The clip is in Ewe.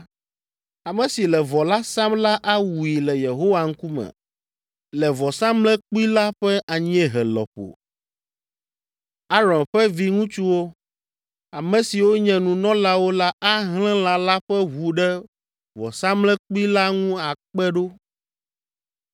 Ame si le vɔ la sam la awui le Yehowa ŋkume le vɔsamlekpui la ƒe anyiehe lɔƒo. Aron ƒe viŋutsuwo, ame siwo nye nunɔlawo la ahlẽ lã la ƒe ʋu ɖe vɔsamlekpui la ŋu akpe ɖo.